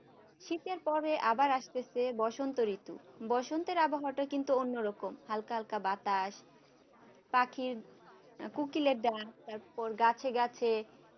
শীতের পরে আবার আসতেছে বসন্ত ঋতু বসন্তের আবহাওয়াটা কিন্তু অন্যরকম হালকা হালকা বাতাস পাখির কোকিলের ডাক তারপর গাছে গাছে